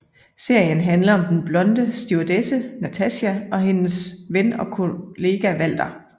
Serien handler om den blonde stewardesse Natacha og hendes ven og kollega Walter